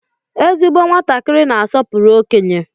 Ezigbo nwatakịrị na-asọpụrụ okenye.